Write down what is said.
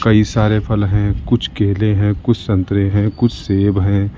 कई सारे फल हैं कुछ केले हैं कुछ संतरे हैं कुछ सेब है।